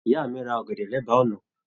Ìyá mi rà ọ̀gẹ̀dẹ̀ l'ẹba ọ̀nà.